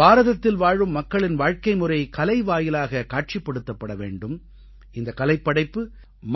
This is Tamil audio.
பாரதத்தில் வாழும் மக்களின் வாழ்க்கைமுறை கலை வாயிலாக காட்சிப்படுத்தப்பட வேண்டும் இந்தக் கலைப்படைப்பு